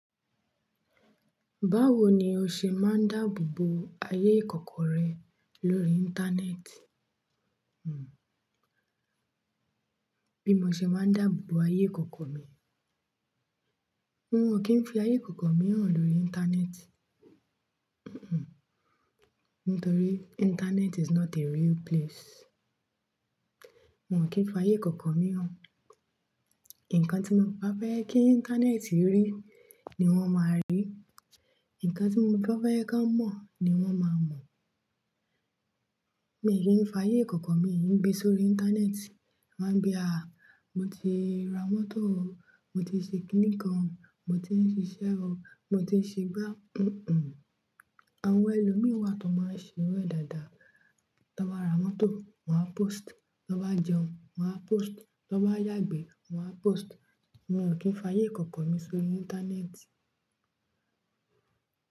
Báwo ni o ṣe máa ń dáàbò bo ayé ìkọ̀kọ̀ rẹ lórí. Íńtánẹ́ẹ̀tì? Bí mo ṣe máa ń dáàbò bo ayé ìkọ̀kọ̀ mi. N ò kí ń fi ayé ìkọ̀kọ̀ mi hàn lórí íńtánẹ́ẹ̀tì. Nítorí internet is not a real place. Mo ò kí ń fi ayé ìkọ̀kọ̀ mi hàn. Ǹkan tí mo bá fẹ́ kí íńtánẹ́ẹ̀tì rí ni wọ́n máa rí, ǹkan tí mo bá fẹ́ ẹ ká mọ̀ ni wọ́n máa mọ̀. Mi ò ní fi ayé ìkọ̀kọ̀ mi gbé sórí íńtánẹ́ẹ̀tì. Máa ń bí à á, mo ti ra mọ́tò o, mo ti ṣe kíní kan o, mo ti ń ṣiṣẹ́ o, mo ti ṣe gbá àwọn ẹlòmíì wà tó máa ń ṣe irù ẹ̀ dáadáa. Tí wọ́n bá ra mọ́tò, wọ́n á post, tí wọ́n bá jẹun, wọ́n á post, tí wọ́n bá yàgbẹ́, wọ́n á post. Mo ò kí ń fi ayé ìkọ̀kọ̀ mi sórí íńtánẹ́ẹ̀tì.